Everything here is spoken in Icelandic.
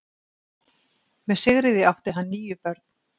Með Sigríði átti hann níu börn.